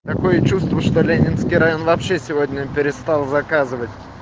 такое чувство что ленинский район вообще сегодня перестал заказывать